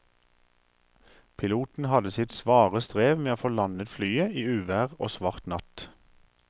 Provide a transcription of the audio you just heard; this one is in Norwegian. Piloten hadde sitt svare strev med å få landet flyet i uvær og svart natt.